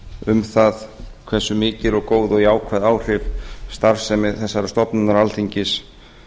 um það hversu mikil og góð og jákvæð áhrif starfsemi þessarar stofnunar alþingis